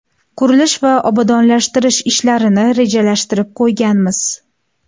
Qurilish va obodonlashtirish ishlarini rejalashtirib qo‘yganmiz.